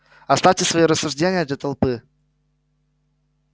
оставьте свои рассуждения для толпы